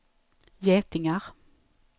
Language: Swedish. getingar